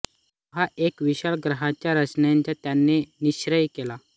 तेव्हा एका विशाल ग्रंथाच्या रचनेचा त्यांनी निश्चय केला